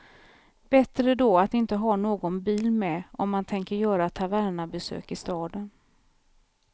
Bättre då att inte ha någon bil med, om man tänker göra tavernabesök i staden.